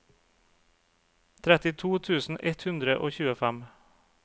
trettito tusen ett hundre og tjuefem